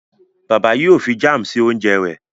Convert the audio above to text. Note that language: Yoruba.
Bàbá yíò fí Jam sí oúnjẹ rè.